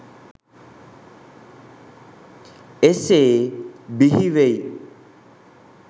එසේ බිහිවෙයි.